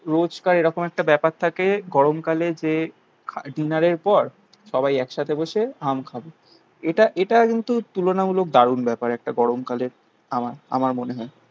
রোজকার এরকম একটা ব্যাপার থাকে গরমকালে যে ডিনারের পর সবাই একসাথে বসে আম খাবো. এটা এটা কিন্তু তুলনামূলক দারুন ব্যাপার. একটা গরমকালের. আমার. আমার মনে হয়